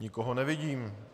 Nikoho nevidím.